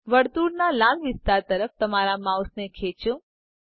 વર્તુળના લાલ વિસ્તાર તરફ તમારા માઉસને ખેંચો